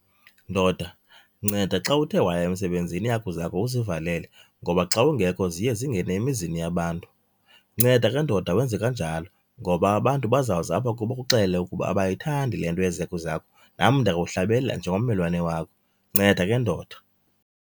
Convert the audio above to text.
Ndoda, nceda xa uthe waya emsebenzini iihagu zakho uzivalele ngoba xa ungekho ziye zingene emizini yabantu. Nceda ke ndoda wenze kanjalo ngoba abantu bazawuza apha kuwe bakuxelele ukuba abayithandi le nto yezi hagu zakho. Nam ndiyakuhlebela njengommelwane wakho, nceda ke ndoda.